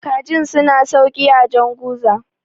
kajin suna sauki a janguza